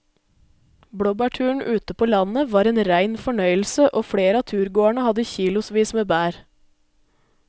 Blåbærturen ute på landet var en rein fornøyelse og flere av turgåerene hadde kilosvis med bær.